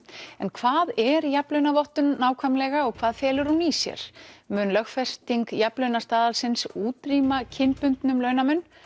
en hvað er jafnlaunavottun nákvæmlega og hvað felur hún í sér mun lögfesting jafnlaunastaðalsins útrýma kynbundnum launamun